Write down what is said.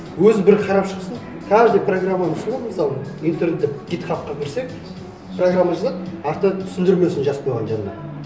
өзі бір қарап шықсын каждый программаны сол ғой мысалы интернетте гитхабқа кірсек программа жазады артынан түсіндірмесін жазып қойған жанына